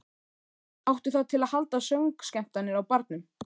Áttu það til að halda söngskemmtanir á barnum.